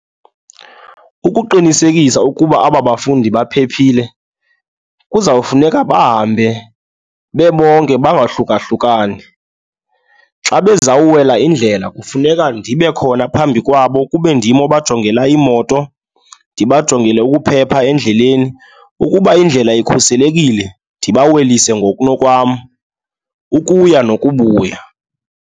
Ukuqinisekisa ukuba aba bafundi baphephile kuzawufuneka bahambe bebonke bangahlukahlukani. Xa bezawuwela indlela kufuneka ndibe khona phambi kwabo kube ndim abajongela iimoto, ndibajongele ukuphepha endleleni. Ukuba indlela ikhuselekile, ndibawelise ngokunokwam ukuya nokubuya.